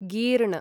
गीर्ण